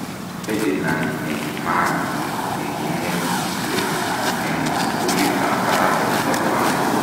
Ferdinand Nahimana nekinetishek eng sukulit ap parak nepo Rwanda.